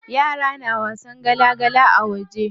Yara na wasan gala gala a waje.